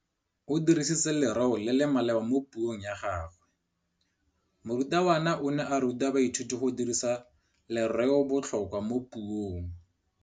O dirisitse lerêo le le maleba mo puông ya gagwe. Morutabana o ne a ruta baithuti go dirisa lêrêôbotlhôkwa mo puong.